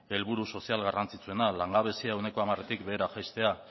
helburu sozial garrantzitsuena langabezia ehuneko hamaretik behera jaistea